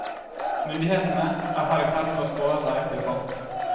Myndighetene er her i ferd med å spare seg til fant.